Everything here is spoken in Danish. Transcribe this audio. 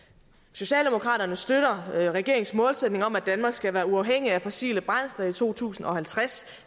socialdemokraterne støtter regeringens målsætning om at danmark skal være uafhængig af fossile brændsler i to tusind og halvtreds